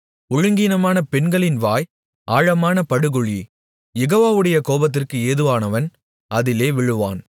ஒழுங்கீனமான பெண்களின் வாய் ஆழமான படுகுழி யெகோவாவுடைய கோபத்திற்கு ஏதுவானவன் அதிலே விழுவான்